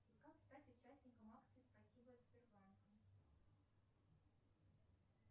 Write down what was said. как стать участником акции спасибо от сбербанка